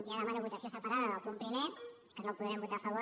ja demano votació separada del punt primer i que no el podrem votar a favor